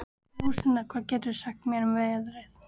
Róslinda, hvað geturðu sagt mér um veðrið?